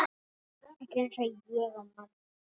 Gerir skýrslu um bandarískan sjávarútveg